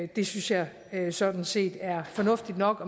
det synes jeg jeg sådan set er fornuftigt nok